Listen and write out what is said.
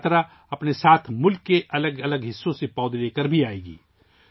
یہ یاترا اپنے ساتھ ملک کے الگ الگ حصوں سے پودے بھی لے کر آئے گی